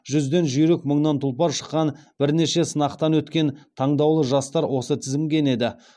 жүзден жүйрік мыңнан тұлпар шыққан бірнеше сынақтан өткен таңдаулы жастар осы тізімге енеді